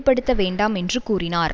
படுத்த வேண்டாம் என்று கூறினார்